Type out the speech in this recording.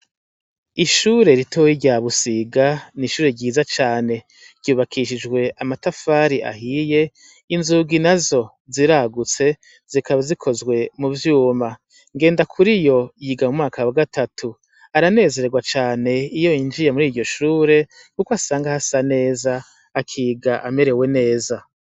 Ishure ritoya rya Busiga nishure ryiza cane, ryubakishjwe amatafari ahiye, inzugi nazo ziragutse zikaba zikozwe muvyuma. NGENDAKURIYO yiga mumwaka wagatatu aranezerwa cane iyo yinjiye muriryo shure kuko asanga hasa neza akiga amerewe neza.